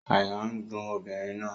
Àyà n dùn obìnrin náà